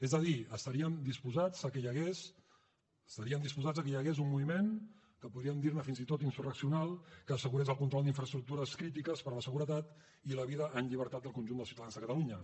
és a dir estarien disposats que hi hagués un moviment que podríem dir ne fins i tot insurreccional que assegurés el control d’infraestructures crítiques per a la seguretat i la vida en llibertat del conjunt dels ciutadans de catalunya